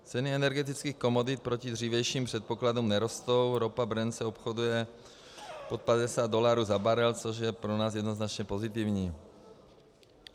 Ceny energetických komodit proti dřívějším předpokladům nerostou, ropa Brent se obchoduje pod 50 dolarů za barel, což je pro nás jednoznačně pozitivní.